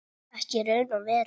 Ekki í raun og veru.